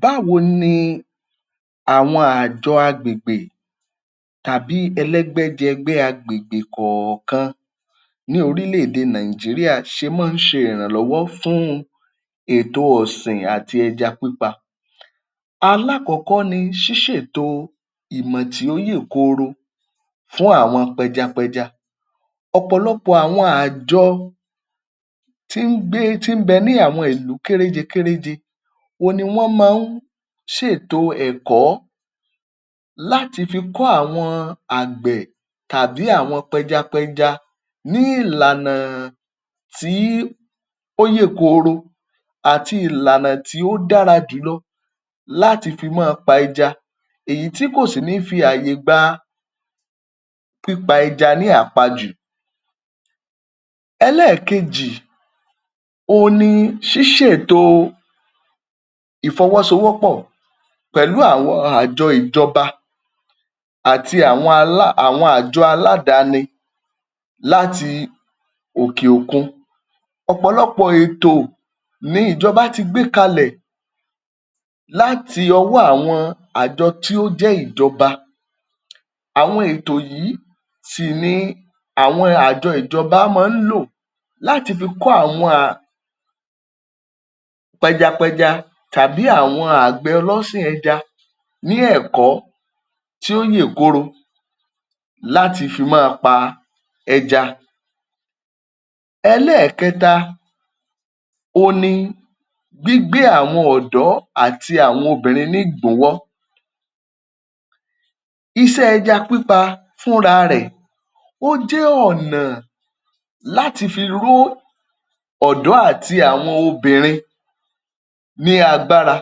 Báwo ni àwọn àjọ agbègbè tàbí ẹlẹ́gbẹ́jẹgbẹ́ agbègbè kọ̀ọ̀kan ní orílẹ̀-èdè Nigeria ṣe máa ń ṣe ìrànlọ́wọ́ fún ètò ọ̀sìn àti ẹja pípa. Alákọ̀ọ́kọ́ ni ṣíṣètò ìmọ̀ tí ó yè kooro fún àwọn pẹjapẹja. Ọ̀pọ̀lọpọ̀ àwọn àjọ tí ń gbé, tí ń bẹ ní àwọn ìlú kéréje kéréje, òun ni wọ́n máa ń ṣètò ẹ̀kọ́ láti fi kọ́ àwọn àgbẹ̀ tàbí àwọn pẹjapẹja ní ìlànà tí ó yè kooro àti ìlànà tí ó dára jùlọ láti fi máa pa ẹja. Èyí tí kò sì ní fi ààyè gba pípa ẹja ní àpajù. Ẹlẹ́ẹ̀kejì òhun ni ṣíṣètò ìfọwọ́sowọ́pọ̀ pẹ̀lú àwọn àjọ ìjọba àti àwọn alá, àwọn àjọ aládàáni láti òkè òkun. Ọ̀pọ̀lọpọ̀ ètò ní ìjọba tí gbé kalẹ̀ láti ọwọ́ àwọn àjọ tí ó jẹ́ ìjọba. Àwọn ètò yìí sì ni àwọn àjọ ìjọba máa ń lò láti fi kọ́ àwọn pẹjapẹja tàbí àwọn àgbẹ̀ ọlọ́sìn ẹja ní ẹ̀kọ́ tí ó yè kooro láti fi máa pa ẹja. Ẹlẹ́ẹ̀kẹta on ni gbígbé àwọn ọ̀dọ́ àti àwọn obìnrin ní ìgbúnwọ́. Iṣẹ́ ẹja pípa fúnra rẹ̀, ó jẹ́ ọ̀nà láti fi ró ọ̀dọ́ àti àwọn obìnrin ní agbára.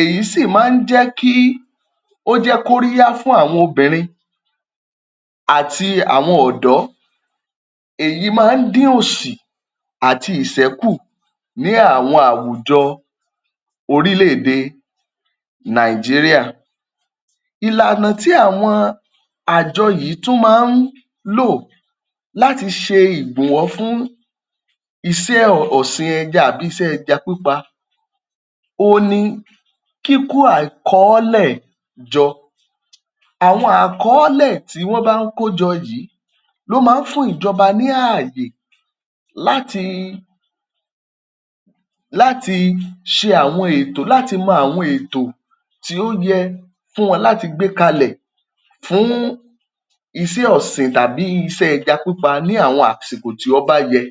Èyí sì máa ń jẹ́ kí ó jẹ́ kóríyá fún àwọn obìnrin àti àwọn ọ̀dọ́. Èyí máa ń dín òṣì àti ìṣẹ́ kù ní àwọn àwùjọ orílẹ̀-èdè Nigeria. Ìlànà tí àwọn àjọ yìí tún máa ń lò láti ṣe ìgbùnwọ́ fún iṣẹ́ ọ̀sìn ẹja àbí iṣẹ́ ẹja pípa on ni kíkó àkọọ́lẹ̀ jọ. Àwọn àkọọ́lẹ̀ tí wọ́n bá ń kó jọ yìí ló máa ń fún ìjọba ní ààyè láti láti ṣe àwọn ètò láti mọ àwọn ètò tí ó yẹ fún wọn láti gbé kalẹ̀ fún iṣẹ́ ọ̀sìn tàbí iṣẹ́ ẹja pípa ní àwọn àsìkò tí ọ́ bá yẹ.